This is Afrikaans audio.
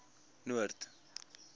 noord